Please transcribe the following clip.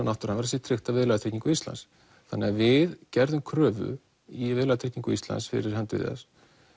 náttúruhamfara sé tryggt af viðlagatryggingum Íslands þannig að við gerðum kröfu í Viðlagatryggingu Íslands fyrir hönd Viðars